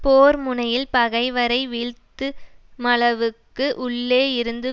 போர் முனையில் பகைவரை வீழ்த்துமளவுக்கு உள்ளே இருந்து